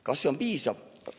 Kas see on piisav?